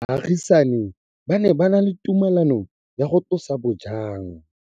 Baagisani ba ne ba na le tumalanô ya go tlosa bojang.